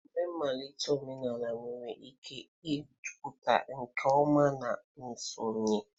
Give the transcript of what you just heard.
Emume mmalite omenala nwere ike ịpụta nke ọma na nsonye.